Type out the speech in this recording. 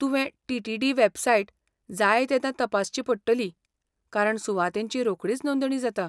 तुवें T. T. D. Website जायतेदां तपासची पडटली, कारण सुवातींची रोखडीच नोंदणी जाता.